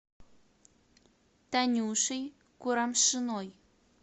танюшей курамшиной